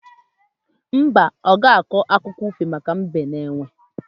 Mba, ọ ga-akọ akụkọ ifo maka Mbe na Enwe